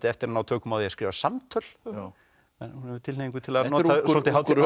eftir að ná tökum á því að skrifa samtöl hún hefur tilhneigingu til að nota hátíðlegt